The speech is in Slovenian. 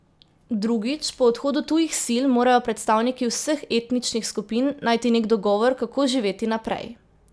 Drugič, po odhodu tujih sil morajo predstavniki vseh etničnih skupin najti nek dogovor, kako živeti naprej.